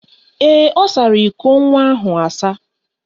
Ee, ọ sara iko nwa ahụ asa.